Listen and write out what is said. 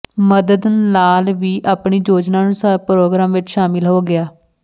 ਮਦਨ ਲਾਲ ਵੀ ਆਪਣੀ ਯੋਜਨਾ ਅਨੁਸਾਰ ਪ੍ਰੋਗਰਾਮ ਵਿਚ ਸ਼ਾਮਲ ਹੋ ਗਿਆ